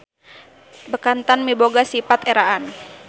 Bekantan miboga sipat eraan.